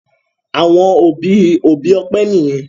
àwọn òbí òbí Ope niyen.